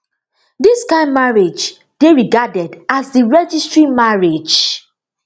dis kain marriage dey regarded as di registry marriage